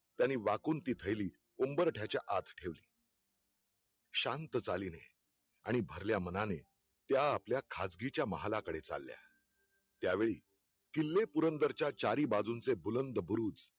त्यांनी वाकून ती थैली उंबरठ्याच्या आत ठेवली शांत चालीने आणि भरल्या मनाने, त्या आपल्या खाजगीच्या महालाकडे चालल्या, त्या वेळी किल्लेपुरन्दरच्या चारीबाजूंचे बुलन्द बुरुज